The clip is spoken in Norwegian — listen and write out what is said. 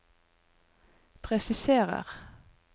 presiserer